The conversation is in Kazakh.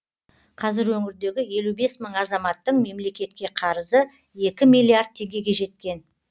қазір өңірдегі елу бес мың азаматтың мемлекетке қарызы екі миллиард теңгеге жеткен